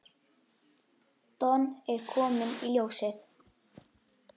Don er kominn í ljósið.